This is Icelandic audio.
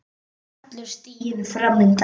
Allur stiginn fram undan.